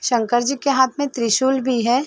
शंकर जी के हाथ में त्रिशूल भी है।